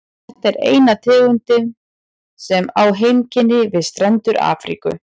Þetta er eina tegundin sem á heimkynni við strendur Afríku.